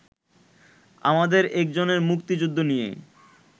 আমাদের একজনের মুক্তিযুদ্ধ নিয়ে